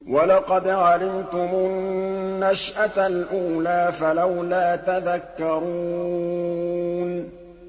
وَلَقَدْ عَلِمْتُمُ النَّشْأَةَ الْأُولَىٰ فَلَوْلَا تَذَكَّرُونَ